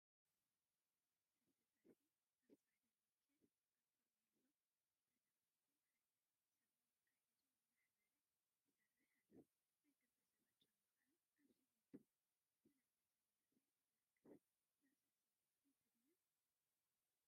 ስልሲ ፀብሒ አብ ፃዕዳ ኒከል አብ ፈርኔሎ ተሰክቲቱ ሓደ ሰብ ማንካ ሒዙ እናአሕበረ ይሰርሕ አሎ፡፡ ናይ ክልተ ሰብ ጫማ ከዓ አብ ስሚንቶ ዝተለመፀ ምድሪ ቤት ይርከብ፡፡ እዛ ስልሲ ጥዕምቲ ድያ?